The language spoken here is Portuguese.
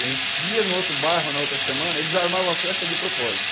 A gente ia no outro bairro, na outra semana, eles armavam a festa de propósito.